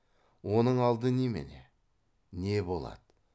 оның алды немене не болады